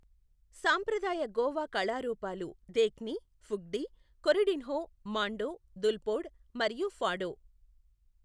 సంప్రదాయ గోవా కళారూపాలు దేఖ్ని, ఫుగ్డి, కొరిడిన్హో, మాండో, దుల్పోడ్ మరియు ఫాడో.